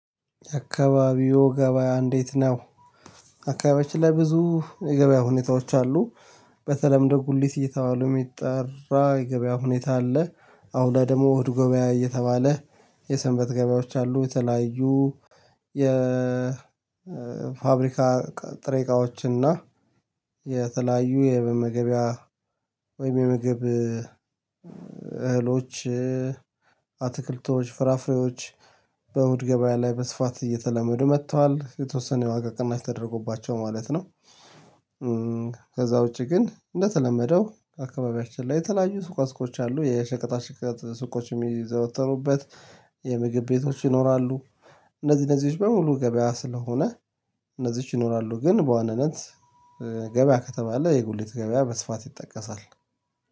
አካባቢው ገበያ እንዴት ነው? አካባቢያችን ላይ ብዙ የገበያ ሁኔታዎች አሉ። በተለምደው ጉሊት እየተባሉ የሚጠራ የገበያ ሁኔታ አለ። አሁን ደግሞ እሁድ ገበያ እየተባለ የሰንበት ገበያዎች አሉ የተለያዩ። የፋብሪካ ጥሬ እቃዎችና የተለያዩ የመመገቢያ ወይም የምግብ እህሎች አትክልቶች ፍራፍሬዎች በእሁድ ገበያ ላይ በስፋት እየተለመዱ መጥተዋል የተወሰነ የዋጋ ቅናሽ ተደርጎባቸው ማለት ነው። ከዛ ውጪ ግን እንደተለመደው አካባቢያችን ላይ የተለያዩ ሱቃ ሱቆች አሉ የሸቀጣ ሽቀጥ ሱቅ የዘወተሩበት የምግብ ቤቶች ይኖራሉ። እነዚህ እነዚህች በሙሉ ገበያ ስለሆነ እነዚህች ይኖራሉ ግን በዋነነት ገበያ ከተባለ የጉሊት ገበያ በስፋት ይጠቀሳል።